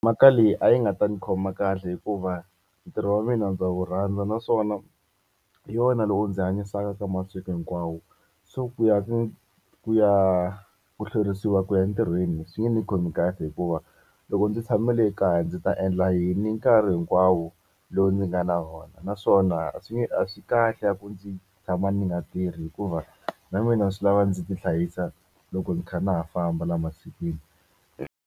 Mhaka leyi a yi nga ta ndzi khoma kahle hikuva ntirho wa mina ndza wu rhandza naswona hi yona loko ndzi hanyisaka ka masiku hinkwawo. So ku ya ku ya ku hlwerisiwa ku ya entirhweni swi nge ni khomi kahle hikuva, loko ndzi tshame le kaya ndzi ta endla yini nkarhi hinkwawo lowu ndzi nga na wona? Naswona a swi a swi kahle a ku ndzi tshama ndzi nga tirhi hikuva na mina swi lava ndzi tihlayisa loko ni kha ndza ha famba laha masikwini.